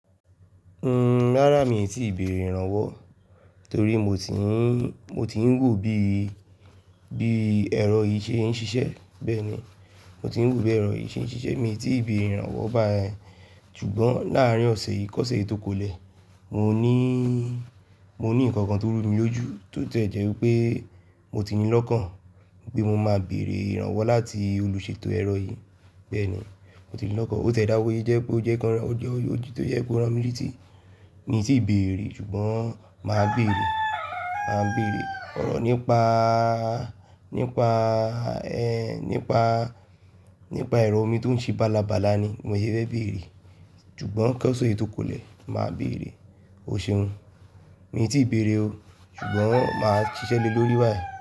Rárá mi tíì béèrè ìrànwọ́ torí mo ti ń, mo ti ń wò bí, bí ẹ̀rọ yìí ṣe ń ṣiṣẹ́ bẹ́ẹ̀ni, mo ti ń wò bí ẹ̀rọ yìí ṣe ń ṣiṣẹ́, mi tí ì béèrè ìrànwọ́ bá ẹ. Ṣùgbọ́n láàárín ọ̀sẹ̀ yìí, kọ̀sẹ̀ yí tó kolẹ̀, mo níí, mo ní nǹkan kan tó rú mi lójú tó tie jẹ́ wipé mo ti ní lọ́kàn pé mo máa béèrè ìrànwọ́ láti olùṣètò ẹ̀rọ yìí bẹ́ẹ̀ni, mo ti ní lọ́kàn. Ó tiẹ dá wọ́ yé jẹ pé ó jẹ́ ń kanra, ó jẹ ojú tó jẹ́ pé ó ran mí létí, mi tí ì béèrè ṣùgbọ́n màá béèrè, màá béèrè ọ̀rọ̀ nípa, nípa ẹ, nípa, nípa ẹ̀rọ mi tó ń ṣe bálabàla ni mi yò ṣe béèrè. Ṣùgbọ́n kọ̀sẹ̀ yí tó kolẹ̀, màá béèrè. O ṣeun, mi tí ì béèrè o ṣùgbọ́n màá ṣiṣẹ́ le lórí báyìí.